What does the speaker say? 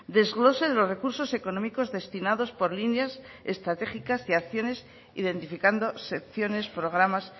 desglose de los recursos económicos destinados por líneas estratégicas y acciones identificando secciones programas